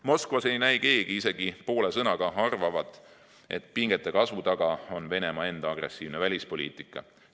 Moskvas ei näi keegi isegi poole sõnaga arvavat, et pingete kasvu taga on Venemaa enda agressiivne välispoliitika.